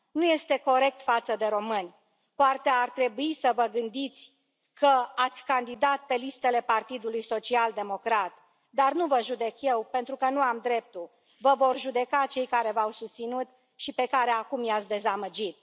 Nu este corect față de români, poate ar trebui să vă gândiți că ați candidat pe listele Partidului Social Democrat, dar nu vă judec eu, pentru că nu am dreptul, vă vor judeca cei care v au susținut și pe care acum i ați dezamăgit.